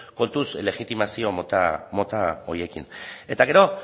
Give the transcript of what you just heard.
kontuz legitimazio mota horiekin eta gero